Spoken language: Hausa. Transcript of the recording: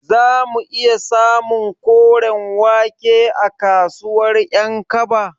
Zamu iya samun koren wake a kasuwar Ƴankaba?